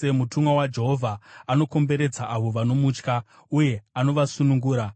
Mutumwa waJehovha anokomberedza avo vanomutya, uye anovasunungura.